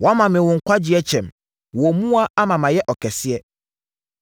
Woama me wo nkwagyeɛ kyɛm. Wo mmoa ama mayɛ ɔkɛseɛ.